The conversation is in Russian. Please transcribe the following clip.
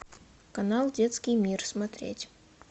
канал детский мир смотреть